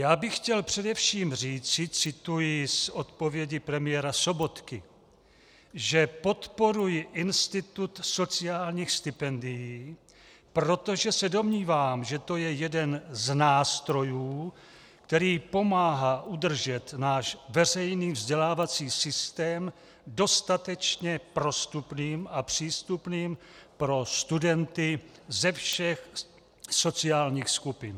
Já bych chtěl především říci - cituji z odpovědi premiéra Sobotky -, že podporuji institut sociálních stipendií, protože se domnívám, že to je jeden z nástrojů, který pomáhá udržet náš veřejný vzdělávací systém dostatečně prostupným a přístupným pro studenty ze všech sociálních skupin.